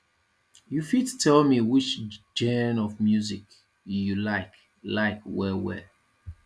you fit tell me which genre of music you like like well well